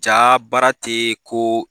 Ja baara tɛ ko